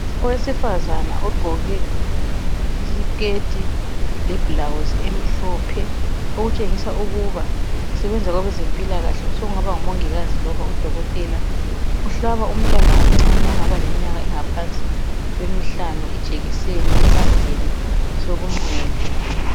Owesifazana ogqoke isikhethi lebhulawuzi emhlophe . Okutshengisa ukuba usebenza kwabezempilakahle ,osekungaba ngumongikazi loba Udokothela. Uhlaba umntwana omncane ongaba leminyaka engaphansi kwemihlanu ijekiseni esandleni sokunxele.